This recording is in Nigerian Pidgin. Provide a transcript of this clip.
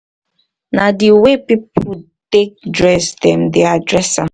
na di way di way wey person take dress dem dey address am